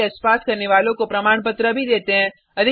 online test pass करने वालों को प्रमाणपत्र भी देते हैं